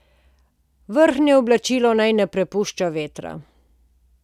Vrhnje oblačilo naj ne prepušča vetra.